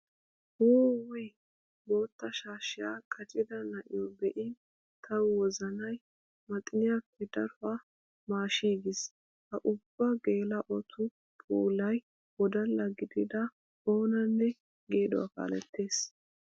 Wuuwuy! bootta shaashshiya qaccidda na'iyo be'in tawu wozanay maxxiniyaappe daruwa maashshigiis. Ha ubbu geela'ottu puulay wodalla gididda oonanne geeduwa kaalettes.